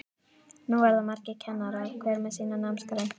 Nú verða margir kennarar, hver með sína námsgrein.